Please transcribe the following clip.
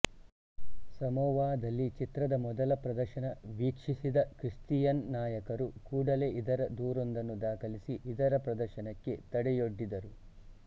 ಸಮೊವಾದಲ್ಲಿ ಚಿತ್ರದ ಮೊದಲ ಪ್ರದರ್ಶನ ವೀಕ್ಷಿಸಿದ ಕ್ರಿಸ್ತಿಯನ್ ನಾಯಕರು ಕೂಡಲೇ ಇದರ ದೂರೊಂದನ್ನು ದಾಖಲಿಸಿ ಇದರ ಪ್ರದರ್ಶನಕ್ಕೆ ತಡೆಯೊಡ್ಡಿದರು